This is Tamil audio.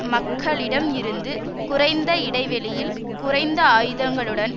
மக்களிடம் இருந்து குறைந்த இடைவெளியில் குறைந்த ஆயுதங்களுடன்